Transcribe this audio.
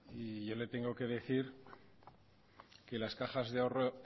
y yo le tengo que decir que las cajas de ahorro